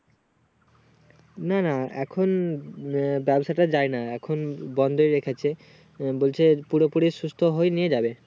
না না এখন আহ ব্যবসা টা যায়না এখন বন্দই রেখেছে বলছে পুরোপুরি সুস্থ হয় নিয়ে যাবে